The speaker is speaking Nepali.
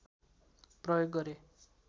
प्रयोग गरे